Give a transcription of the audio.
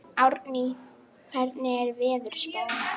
Árný, hvernig er veðurspáin?